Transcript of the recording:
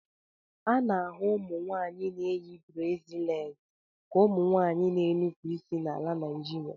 A na-ahụ ụmụnwaanyị na-eyi brasịleti ka ụmụ nwanyị na-enupụ isi na ala Naịjirịa.